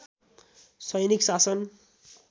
सैनिक शासन